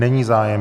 Není zájem.